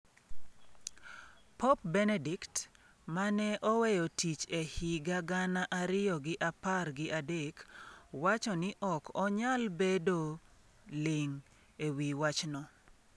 Pop Benedict, mane oweyo tich e higa gana ariyo gi apar gi adek, wacho ni ok onyal bedo ling' ewi wachno.